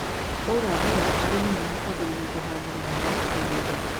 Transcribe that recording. Kwaura mbura arĩmi nĩ mekwambĩrĩria kũhanda mĩmera mĩgũndainĩ